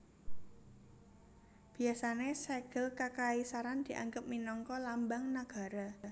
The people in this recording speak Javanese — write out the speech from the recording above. Biasané Sègel Kakaisaran dianggep minangka Lambang Nagara